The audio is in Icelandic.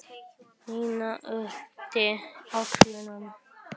Nína yppti öxlum.